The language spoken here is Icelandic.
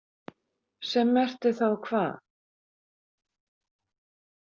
Sem merkti þá hvað?